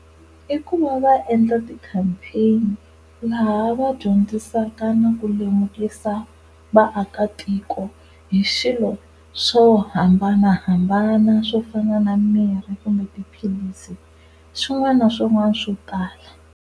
I ku va va endla ti-campaign-i laha va dyondzisaka na ku lemukisa vaakatiko hi swilo swo hambanahambana swo fana na mirhi kumbe tiphilisi swin'wana na swin'wana swo tala.